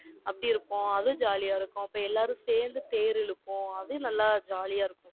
அப்படி இருப்போம். அது jolly ஆ இருக்கும். அப்ப எல்லாரும் சேர்ந்து, தேர் இழுப்போம். அதுவும் நல்லா, jolly ஆ இருக்கும்